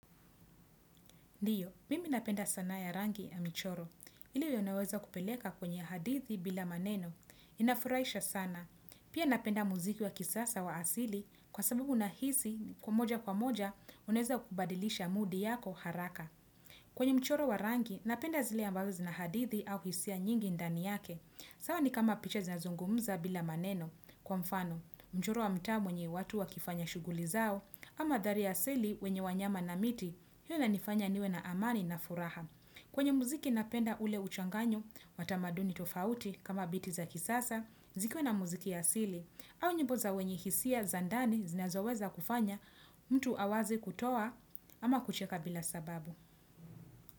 Ndiyo, mimi napenda sanaa ya rangi ya michoro, ili unaweza kupeleka kwenye hadithi bila maneno, inafuraisha sana, pia napenda muziki wa kisasa wa asili kwa sababu na hisi kwa moja kwa moja uneza kubadilisha mudi yako haraka. Kwenye mchoro wa rangi, napenda zile ambazo zinahadithi au hisia nyingi ndani yake. Sawa ni kama picha zinazungumuza bila maneno kwa mfano, mchoro wa mtaa mwenye watu wakifanya shuguli zao, ama dhari ya sili wenye wanyama na miti, hiyo na nifanya niwe na amani na furaha. Kwenye mziki napenda ule uchanganyo, watamaduni tofauti kama biti za kisasa, zikwe na mziki ya asili, au nyimbo za wenye hisia zandani zinazoweza kufanya mtu awazi kutoa ama kucheka bila sababu.